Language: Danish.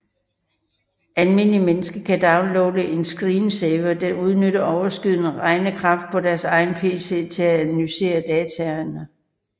Almindelige mennesker kan downloade en screensaver der udnytter overskydende regnekraft på deres egen pc til at analysere dataene